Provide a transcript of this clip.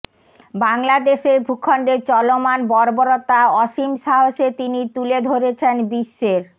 বাংলাদেশের ভূখণ্ডে চলমান বর্বরতা অসীম সাহসে তিনি তুলে ধরেছেন বিশ্বের